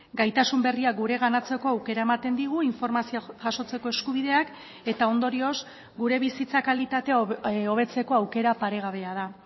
gaitasun berriak gureganatzeko aukera ematen digu informazioa jasotzeko eskubideak eta ondorioz gure bizitza kalitatea hobetzeko aukera paregabea da